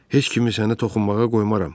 Heç kimi sənə toxunmağa qoymaram.